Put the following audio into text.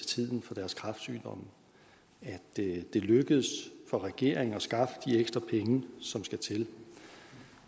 tiden for deres kræftsygdom at det er lykkedes for regeringen at skaffe de ekstra penge som skal til